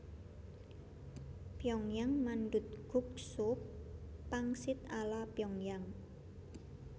Pyongyang mandutguk sup pangsit ala Pyongyang